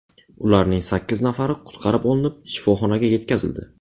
Ularning sakkiz nafari qutqarib olinib, shifoxonaga yetkazildi.